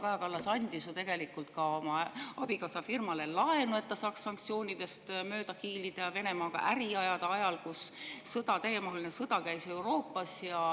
Kaja Kallas andis ju tegelikult ka oma abikaasa firmale laenu, et ta saaks sanktsioonidest mööda hiilida ja Venemaaga äri ajada ajal, kui Euroopas käis täiemahuline sõda.